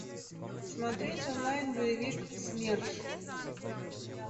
смотреть онлайн боевик смерш